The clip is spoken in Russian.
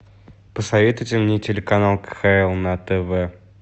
посоветуйте мне телеканал кхл на тв